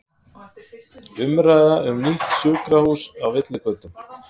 Umræða um nýtt sjúkrahús á villigötum